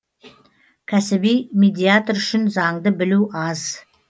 кәсіби медиатор үшін заңды білу аз